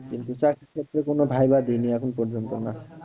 কিন্তু চাকরির ক্ষেত্রে কোনো viva দিইনি এখন পর্যন্ত না।